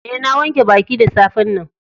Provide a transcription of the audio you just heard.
Eh, na wanke baki da safe'n nan.